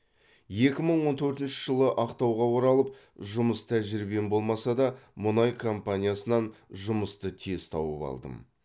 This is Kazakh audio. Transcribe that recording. екі мың он төртінші жылы ақтауға оралып жұмыс тәжірибем болмаса да мұнай компаниясынан жұмысты тез тауып алдым